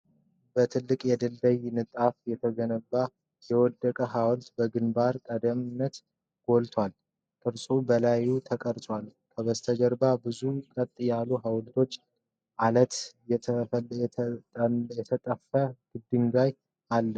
በትላልቅ የድንጋይ ንጣፎች የተገነባ የወደቀ ሐውልት በግንባር ቀደምትነት ጎልቷል፣ ቅርጾች በላዩ ተቀርጸዋል። ከበስተጀርባ ብዙ ቀጥ ያሉ ሐውልቶችና ዐለት የተነጠፈ ግድግዳ ይታያል።